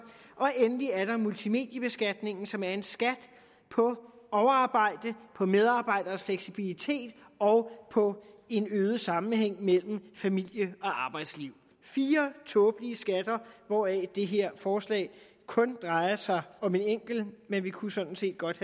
endelig er der multimediebeskatningen som er en skat på overarbejde på medarbejderes fleksibilitet og på en øget sammenhæng mellem familie og arbejdsliv det fire tåbelige skatter hvoraf det her forslag kun drejer sig om en enkelt men vi kunne sådan set godt